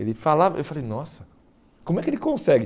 Ele falava eu falei, nossa, como é que ele consegue?